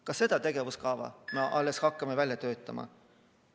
Kas seda tegevuskava me alles hakkame välja töötama?